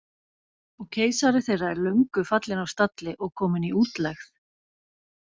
Og keisari þeirra er löngu fallinn af stalli og kominn í útlegð.